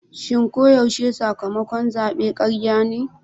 Shin ko yaushe sakamakon zabe karya ne?